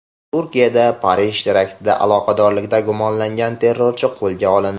Turkiyada Parij teraktida aloqadorlikda gumonlangan terrorchi qo‘lga olindi.